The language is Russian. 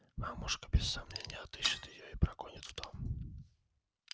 мамушка без сомнения отыщет её и прогонит в дом